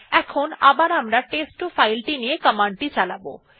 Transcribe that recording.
এখন আবার আমরা টেস্ট2 ফাইল ti নিয়ে কমান্ডটি চালাব